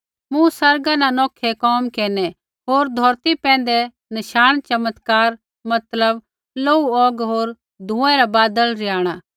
मूँ आसमाना न नौखै कोम होर धौरती पैंधै नशाण चमत्कार मतलब लोहू औग होर धुँऐ रा बादल रिहाणा